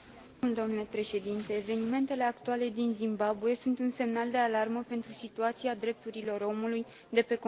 Evenimentele actuale din Zimbabwe sunt un semnal de alarmă pentru situația drepturilor omului de pe continentul african.